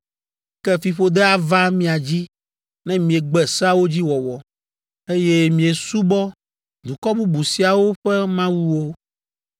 ke fiƒode ava mia dzi ne miegbe seawo dzi wɔwɔ, eye miesubɔ dukɔ bubu siawo ƒe mawuwo.